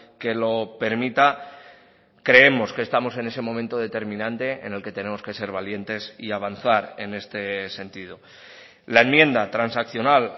que lo permita creemos que estamos en ese momento determinante en el que tenemos que ser valientes y avanzar en este sentido la enmienda transaccional